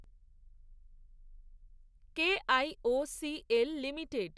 KIOCL limited